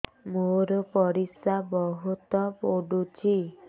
ମୋର ପରିସ୍ରା ବହୁତ ପୁଡୁଚି